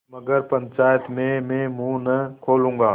मगर पंचायत में मुँह न खोलूँगा